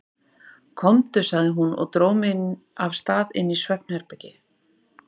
Komdu, sagði hún og dró mig af stað inn í svefnherbergi.